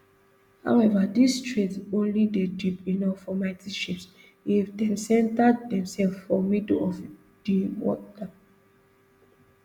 however dis strait only dey deep enof for mighty ships if dem centre demsef for middle of di water